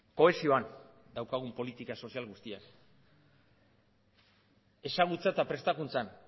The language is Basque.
kohesioan daukagun politika sozial guztiak ezagutzan eta prestakuntzan